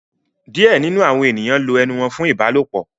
Some people use their mouths for sex